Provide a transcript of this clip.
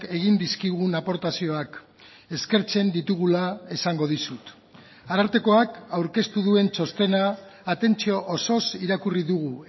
egin dizkigun aportazioak eskertzen ditugula esango dizut arartekoak aurkeztu duen txostena atentzio osoz irakurri dugu